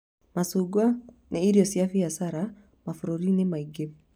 Macungwa nĩ irio cia mbiacara mabũrũri-inĩ maingĩ